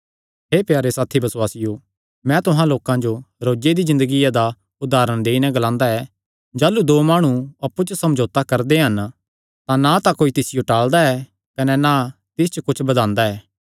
हे प्यारे साथी बसुआसियो मैं तुहां लोकां जो रोजे दी ज़िन्दगिया दा उदारण देई नैं ग्लांदा ऐ जाह़लू दो माणु अप्पु च समझौता करदे हन तां ना कोई तिसियो टाल़दा ऐ कने ना तिस च कुच्छ बधांदा ऐ